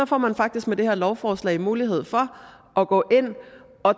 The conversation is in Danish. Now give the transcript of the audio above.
får man faktisk med det her lovforslag mulighed for at gå ind at